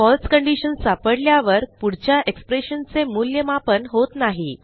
फळसे condition सापडल्यावर पुढच्या expressionचे मूल्यमापन होत नाही